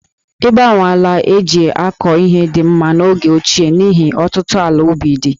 Ịgbanwe ala e ji akọ ihe dị mma n'oge ochie n'ihi ọtụtụ ala ubi dị̀